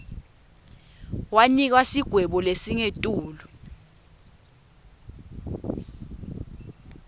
wanikwa sigwebo lesingetulu